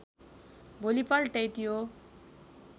भोलिपल्टै त्यो